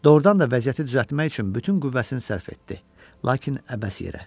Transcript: Doğrudan da vəziyyəti düzəltmək üçün bütün qüvvəsini sərf etdi, lakin əbəs yerə.